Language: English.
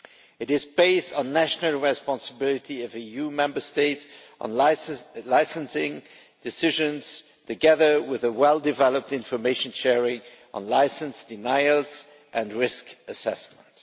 It is based on national responsibility of EU Member States, on licensing decisions, together with well developed information sharing on licence denials and risk assessment.